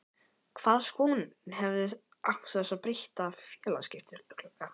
Hvaða skoðun hefurðu á þessum breytta félagaskiptaglugga?